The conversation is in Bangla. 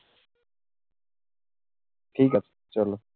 ঠিক আছে, চলো